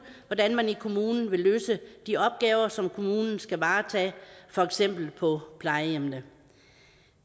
hvordan man i kommunen vil løse de opgaver som kommunen skal varetage for eksempel på plejehjemmene